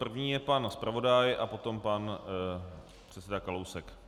První je pan zpravodaj a potom pan předseda Kalousek.